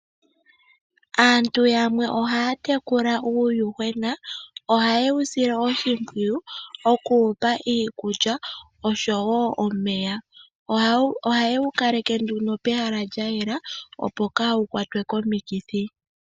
Aantu yamwe ohaya tekula uuyuhwena. Oha ye wu sile oshimpwiyu oku wupa iikulya oshowo omeya. Ohaye wu kaleke nduno pehala lya yela opo kaawu kwatwe komikithi.